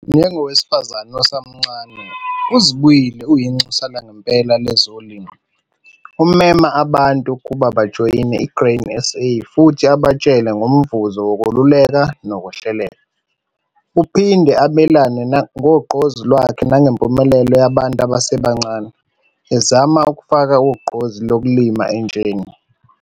Njengowesifazane osemncane, uZibuyile uyinxusa langempela lezolimo. Umema abantu ukuba bajoyine i-Grain SA futhi abantshele ngomvuzo wokululekwa nokuhleleka. Uphinde abelane ngogqozi lwakhe nangempumelelo yabantu abasebancane, ezama ukufaka ugqozi lokulima entsheni.